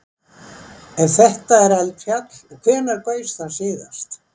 Ef þetta er eldfjall, hvenær gaus það síðast?